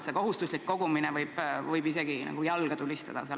See kohustuslik kogumine võib sel juhul tähendada isegi nagu jalga tulistamist.